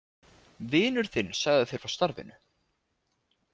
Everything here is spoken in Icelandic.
Vinur þinn sagði þér frá starfinu?